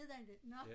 Hed den det nåh